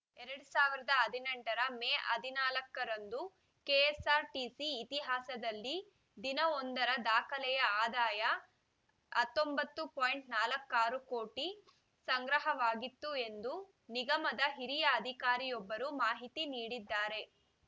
ಎರಡ್ ಸಾವಿರದ ಹದಿನೆಂಟರ ಮೇ ಹದಿನಾಲ್ಕರಂದು ಕೆಎಸ್‌ಆರ್‌ಟಿಸಿ ಇತಿಹಾಸದಲ್ಲಿ ದಿನವೊಂದರ ದಾಖಲೆಯ ಆದಾಯ ಹತ್ತೊಂಬತ್ತು ಪಾಯಿಂಟ್ ನಾಲಕ್ಕಾರು ಕೋಟಿ ಸಂಗ್ರಹವಾಗಿತ್ತು ಎಂದು ನಿಗಮದ ಹಿರಿಯ ಅಧಿಕಾರಿಯೊಬ್ಬರು ಮಾಹಿತಿ ನೀಡಿದ್ದಾರೆ